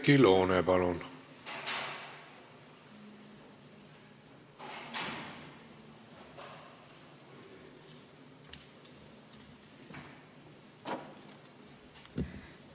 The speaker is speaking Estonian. Oudekki Loone, palun!